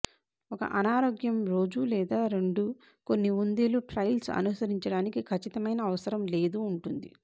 ఒక అనారోగ్యం రోజు లేదా రెండు కొన్ని కుందేలు ట్రైల్స్ అనుసరించడానికి ఖచ్చితమైన అవసరం లేదు ఉంటుంది